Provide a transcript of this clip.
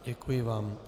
Děkuji vám.